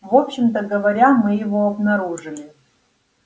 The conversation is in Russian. вообщем-то говоря мы его обнаружили